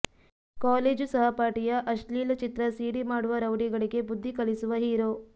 college ಸಹಪಾಠಿಯ ಅಶ್ಲೀಲ ಚಿತ್ರ ಸಿಡಿ ಮಾಡುವ ರೌಡಿಗಳಿಗೆ ಬುದ್ಧಿ ಕಲಿಸುವ ಹೀರೊ